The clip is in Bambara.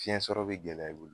Fiɲɛ sɔrɔ bi gɛlɛya i bolo